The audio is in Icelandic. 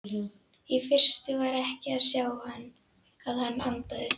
Í fyrstu var ekki að sjá að hann andaði.